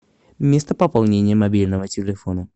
место пополнения мобильного телефона